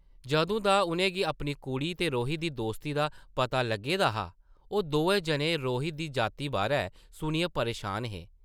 जदूं दा उʼनें गी अपनी कुड़ी ते रोहित दी दोस्ती दा पता लग्गे दा हा ओह् दोऐ जने रोहित दी जाति बारै सुनियै परेशान हे ।